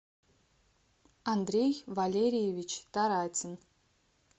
андрей валерьевич таратин